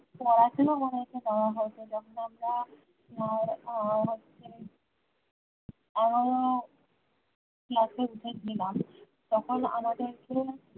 পড়াশোনা মনে হচ্ছে দেওয়া হয়েছে যখন আমরা উম উম হচ্ছে আহ class এ উঠে ছিলাম তখন আমাদেরকে